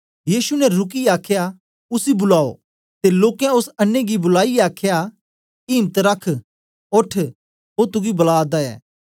यीशु ने रुकियै आखया उसी बुलाओ ते लोकें ओस अन्नें गी बुलाईयै आखया इम्त रख ओठ ओ तुगी बुला दा ऐ